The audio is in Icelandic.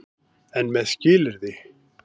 EN MEÐ SKILYRÐI.